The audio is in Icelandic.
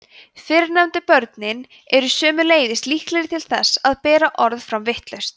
fyrrnefndu börnin eru sömuleiðis líklegri til þess að bera orð fram vitlaust